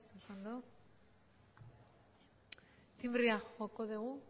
ez oso ondo tinbrea joko dugu